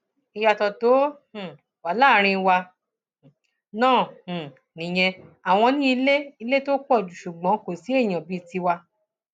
ìyàtọ tó um wà láàrin wa náà um nìyẹn àwọn ní ilé ilé tó pọ ṣùgbọn kò sí èèyàn bíi tiwa